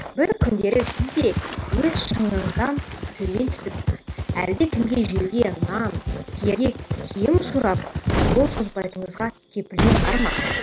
бір күндері сіз де өз шыңыңыздан төмен түсіп әлдекімге жеуге нан киерге киім сұрап қол созбайтыныңызға кепіліңіз бар ма